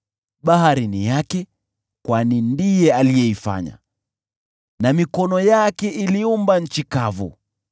Bahari ni yake, kwani ndiye aliifanya, na mikono yake iliumba nchi kavu.